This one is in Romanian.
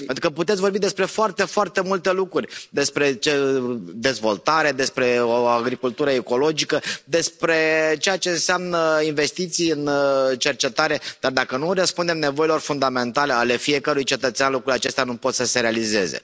Pentru că puteți vorbi despre foarte foarte multe lucruri, despre dezvoltare, despre o agricultură ecologică, despre ceea ce înseamnă investiții în cercetare, dar dacă nu răspundem nevoilor fundamentale ale fiecărui cetățean, lucrurile acestea nu pot să se realizeze.